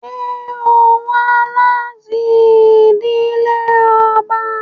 Ṣe o wa lati idile ọba?